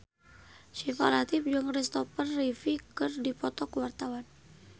Syifa Latief jeung Kristopher Reeve keur dipoto ku wartawan